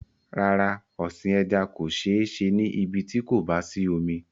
Rárá, ọ̀sìn ẹja kò sé se ní ibí tí kò bá sí omi